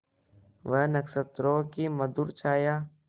वह नक्षत्रों की मधुर छाया